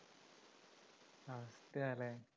ല്ലേ